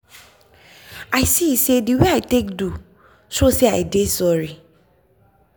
i see say the wey i take do so say i dey sorry.